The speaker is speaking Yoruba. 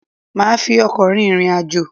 Maa fi ọkọ̀ rin ìrìn àjò